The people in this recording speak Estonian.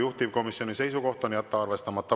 Juhtivkomisjoni seisukoht on jätta arvestamata.